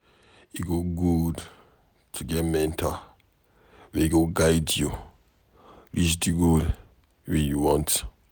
E good to get mentor wey go guide you reach di goal wey you want.